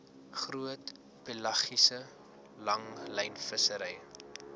groot pelagiese langlynvissery